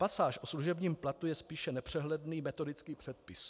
Pasáž o služebním platu je spíše nepřehledný metodický předpis.